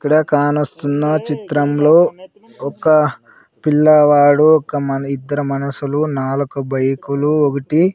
ఇక్కడ కానొస్తున్న చిత్రంలో ఒక పిల్లవాడు ఒక మనిద్దరం మనుషులు నాలుక బైకులు ఒకటి --